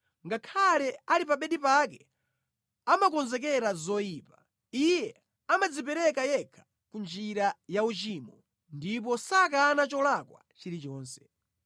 Ngakhale ali pa bedi pake amakonzekera zoyipa; iye amadzipereka yekha ku njira ya uchimo ndipo sakana cholakwa chilichonse.